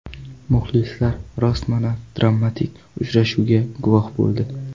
Muxlislar rostmana dramatik uchrashuvga guvoh bo‘ldi.